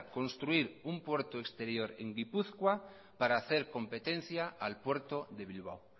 construir un puerto exterior en gipuzkoa para hacer competencia al puerto de bilbao